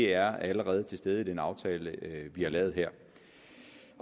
er allerede til stede i den aftale vi har lavet her